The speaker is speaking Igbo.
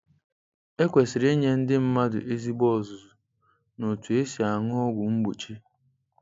E kwesịrị inye ndị mmadụ ezigbo ọzụzụ n’otú e si aṅụ ọgwụ mgbochi.